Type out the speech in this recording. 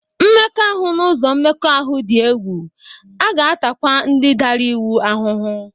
Mmekọahụ n'ụzọ mmekọahụ dị egwu, a ga-atakwa ndị dara iwu ahụhụ